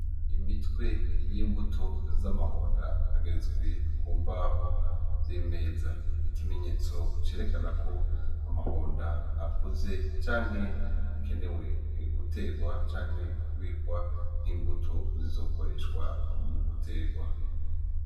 Imitwe y'imbuto z'amahonda ageretswe ku mbaho y'imeza, ikimenyetso cerekana ko amahonda akuze canke akenewe gutegwa canke kubikwa nk'imbuto zizokoreshwa mu gutegwa.